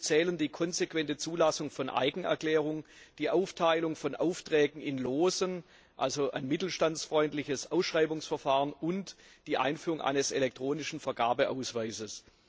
Hierzu zählen die konsequente Zulassung von Eigenerklärungen, die Aufteilung von Aufträgen in Lose, also ein mittelstandsfreundliches Ausschreibungsverfahren, und die Einführung eines elektronischen Vergabeausweises.